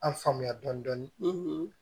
An faamuya dɔɔnin